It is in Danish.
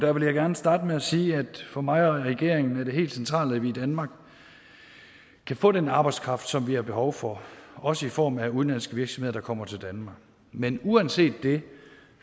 vil gerne starte med at sige at for mig og regeringen er det helt centralt at vi i danmark kan få den arbejdskraft som vi har behov for også i form af udenlandske virksomheder der kommer til danmark men uanset det